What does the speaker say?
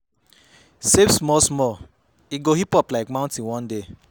Save small small, e go hip up like mountain one day